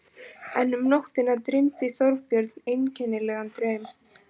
En um nóttina dreymdi Þorbjörn einkennilegan draum.